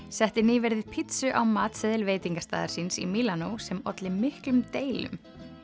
setti nýverið pizzu á matseðil veitingastaðar síns í Mílanó sem olli miklum deilum